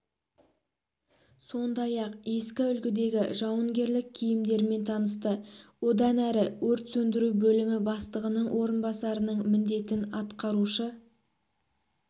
сондай-ақ ескі үлгідегі жауынгерлік киімдермен танысты одан әрі өрт сөндіру бөлімі бастығының орынбасарының міндетін атқарушы